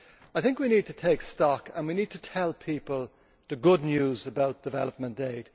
I think we need to take stock, and we need to tell people the good news about development aid.